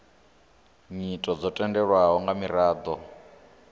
nyito dzo tendelwaho nga miraḓo